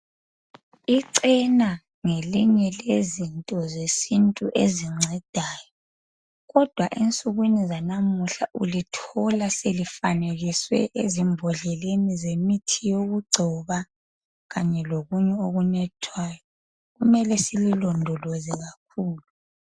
Icena ngelinye lezinto zesintu ezincedayo kodwa ensukwini zanamuhla, ulithola selifanekiswe ezimbodleleni zemithi yokugcoba kanye lokunye okunathwayo. Kumele sililondoloze kakhulu.